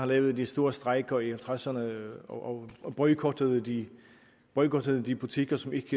lavede de store strejker i nitten tresserne og boykottede de boykottede de butikker som ikke